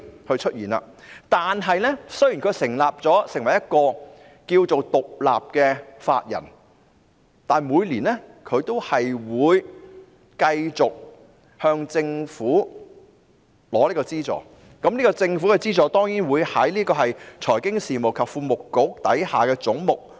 可是，雖然金發局成為了獨立法人，但每年也會繼續向政府領取資助，而有關資助當然計入財經事務及庫務局下的總目。